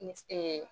Ni